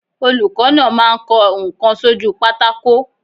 Olùkọ́ náà máa ń kọ ǹkan sójúu pátákó.